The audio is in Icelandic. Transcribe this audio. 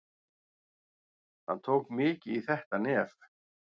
Hann tók mikið í þetta nef.